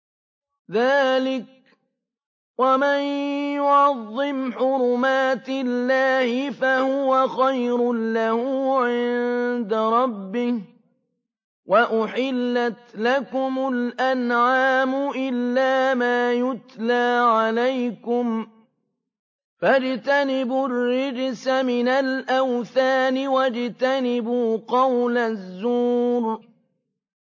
ذَٰلِكَ وَمَن يُعَظِّمْ حُرُمَاتِ اللَّهِ فَهُوَ خَيْرٌ لَّهُ عِندَ رَبِّهِ ۗ وَأُحِلَّتْ لَكُمُ الْأَنْعَامُ إِلَّا مَا يُتْلَىٰ عَلَيْكُمْ ۖ فَاجْتَنِبُوا الرِّجْسَ مِنَ الْأَوْثَانِ وَاجْتَنِبُوا قَوْلَ الزُّورِ